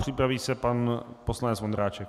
Připraví se pan poslanec Vondráček.